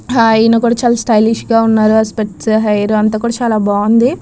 హ యెన్న కూడా చాలా స్టయలేలిష్ గ ఉన్నాడు. స్పీట్స్ హ హెయిర్ అంత కూడా చాలా బాగుంది.